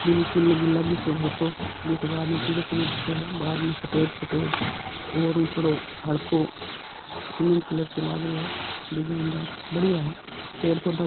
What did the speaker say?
बिल्कुल गुलाबी सो हलको एक बार मे पिलो पिलो सो दिखे बाद मे सफेद सफेद और थोड़ों हलकों सिमेन्ट कलर सो लाग रयो है डिजाइनदार बड़िया है पेड़ पोधा --